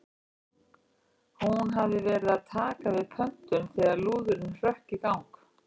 Hún hafði verið að taka við pöntun þegar lúðurinn hrökk í gang.